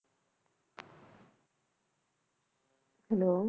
hello